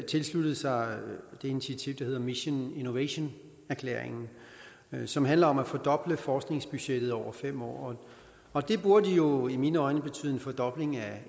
tilsluttet sig det initiativ der hedder mission innovation erklæringen som handler om at fordoble forskningsbudgettet over fem år og det burde jo i mine øjne betyde en fordobling af